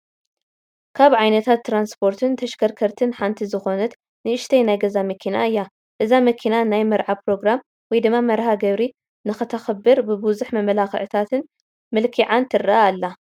ካብ ዓይነታት ትራንስፖርትን ተሽከርከርትን ሓንቲ ዝኾነት ንእሽተይ ናይ ገዛ መኪና እያ፡፡ እዛ መኪና ናይ መርዓ ኘሮግራም ወይ ድማ መርሀ ግብሪ ንኽተኽብር ብብዙሕ መመላኽዕታት መልኪዓን ትረአ ኣላ፡፡